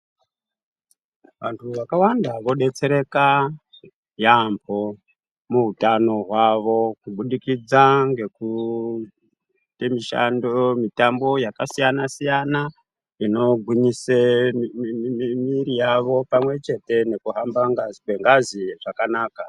Vantu vakawanda vodetsereka yaambo muhutano hwavo kubudikidza ngekuita mutambo yakasiyana siyana inogiwnyisa mwiri yavo pamwepo nekuhamba kwengazi zvakanaka.